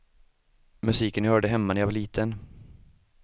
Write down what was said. Musiken jag hörde hemma när jag var liten.